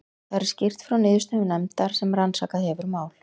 Þar er skýrt frá niðurstöðum nefndar sem rannsakað hefur mál